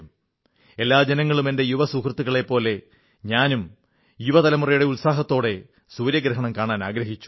എല്ലാ ജനങ്ങളും എന്റെ യുവസഹൃത്തുക്കളെപ്പോലെ ഞാനും യുവ തലമുറയുടെ ഉത്സാഹത്തോടെ സൂര്യഗ്രഹണം കാണാനാഗ്രഹിച്ചു